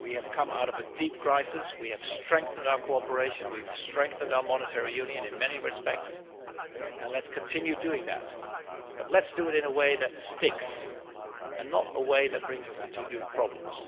We have come out of a deep crisis, we have strengthened our cooperation, we have strengthened our monetary union in many respects and let us continue to do that, but let us do it in a way that sticks and not in a way that brings us new problems.